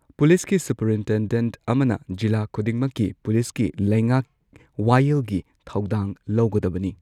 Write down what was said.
ꯄꯨꯂꯤꯁꯀꯤ ꯁꯨꯄꯔꯏꯟꯇꯦꯟꯗꯦꯟꯠ ꯑꯃꯅ ꯖꯤꯂꯥ ꯈꯨꯗꯤꯡꯃꯛꯀꯤ ꯄꯨꯂꯤꯁꯀꯤ ꯂꯩꯉꯥꯛ ꯋꯥꯌꯦꯜꯒꯤ ꯊꯧꯗꯥꯡ ꯂꯧꯒꯗꯕꯅꯤ꯫